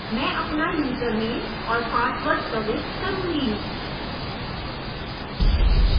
मैं अपना यूज़रनेम और पासवर्ड प्रविष्ट करुँगी